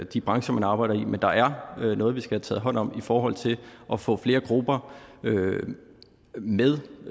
de brancher man arbejder i men der er noget vi skal have taget hånd om i forhold til at få flere grupper med